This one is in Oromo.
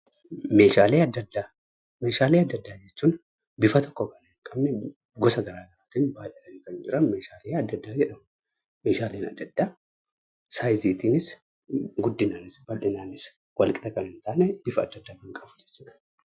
Meeshaale adda addaa: meeshaalee adda addaa jechuun; bifa tokko Kan hin qabne gosa garagaraattin baay'atanni Kan jiraan meeshaalee adda addaa jedhamu. Meeshaaleen adda addaa sa'izittinis, guddinaanis, baldhinaanis Wal qixa Kan hin tanne bifa adda addaa Kan qabu jechuudha.